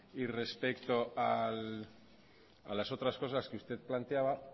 respecto a las otras cosas que usted planteaba